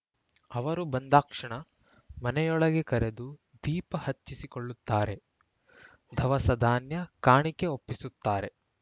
ಅವರು ಬಂದಾಕ್ಷಣ ಮನೆಯೊಳಗೆ ಕರೆದು ದೀಪ ಹಚ್ಚಿಸಿಕೊಳ್ಳುತ್ತಾರೆ ಧವಸ ಧಾನ್ಯ ಕಾಣಿಕೆ ಒಪ್ಪಿಸುತ್ತಾರೆ